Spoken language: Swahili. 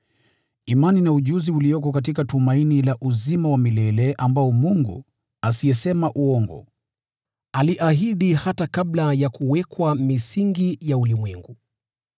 imani na ujuzi ulioko katika tumaini la uzima wa milele, ambao Mungu, asiyesema uongo, aliahidi hata kabla ya kuwekwa misingi ya ulimwengu,